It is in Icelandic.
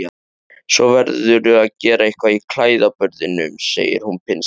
Svo verðurðu að gera eitthvað í klæðaburðinum, segir hún pinnstíf.